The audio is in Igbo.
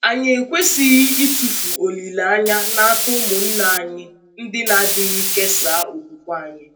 Anyị ekwesịghị ịtụfu olileanya n’aka ụmụnna anyị ndị na-adịghị kesaa okwùkwè anyị.